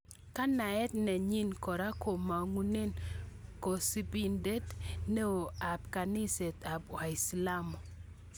Kanaet nenyin kora komangune kosubindet neo ab kaniset ab waislamu.